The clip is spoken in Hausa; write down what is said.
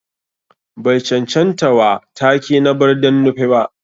Bai chanchanta wa take na Barden Nupe ba.